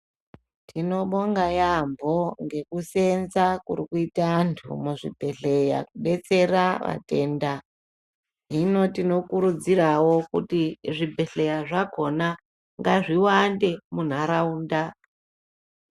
Tinobonga yaamho ngekuseenza kurikuite antu muzvibhedhlera kubetsera vatenda. Hino tinokurudziravo kuti zvibhedhleya zvakona ngazviwande munharaunda.